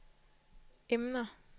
emner